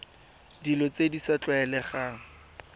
dilo tse di sa tlwaelegang